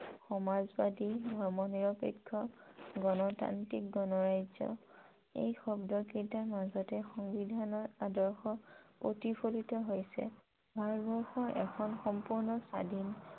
সমাজ বাদী, ধৰ্ম নিৰপেক্ষ, গনতান্ত্ৰিক, গনৰাজ্য়, এই শব্দকেইটাৰ মাজতে সংবিধানৰ আদৰ্শ প্ৰতিফলিত হৈছে । ভাৰতবৰ্ষ এখন সম্পূৰ্ণ স্বাধীন